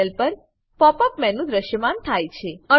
panel પર pop up menu દ્રશ્યમાન થાય છે